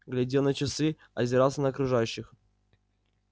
глядел на часы озирался на окружающих